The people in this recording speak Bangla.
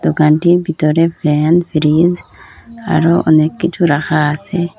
দোকানটির বিতরে ফ্যান ফ্রিজ আরও অনেককিছু রাখা আসে